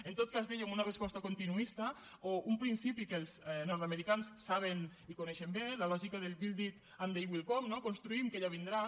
en tot cas dèiem una resposta continuista o un principi que els nordamericans saben i coneixen bé la lògica del build it and they will come construïm que ja vindran